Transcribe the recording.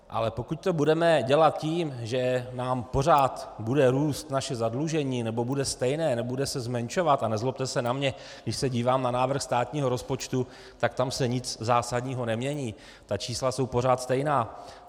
Ale pokud to budeme dělat tím, že nám pořád bude růst naše zadlužení, nebo bude stejné, nebude se zmenšovat, a nezlobte se na mě, když se dívám na návrh státního rozpočtu, tak tam se nic zásadního nemění, ta čísla jsou pořád stejná.